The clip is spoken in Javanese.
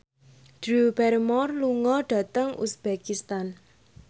Drew Barrymore lunga dhateng uzbekistan